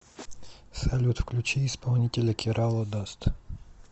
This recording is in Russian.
салют включи исполнителя керала даст